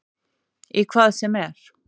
Í hvað sem er.